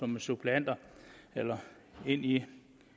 med suppleanter eller ind i